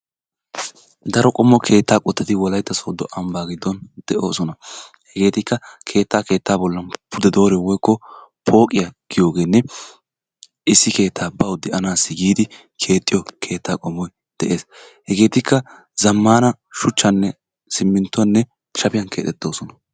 Daro qommo keettaa qottati wolaitta sodo ambbaa gidon de'oosona. Hegeetikka keettaa keettaa bollan pude dooriyo eoiko pooqqiya giyoogeenne issi keettaa bawu de'anassi giidi keexxiyo keettaa qommoy de'ees. Zammaana shuchchaanne simintuwan shafiyan kexxettoosona.